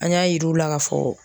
An y'a yir'u la k'a fɔ